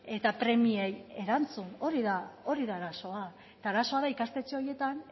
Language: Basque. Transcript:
eta premiei erantzun hori da arazoa eta arazoa da ikastetxe horietan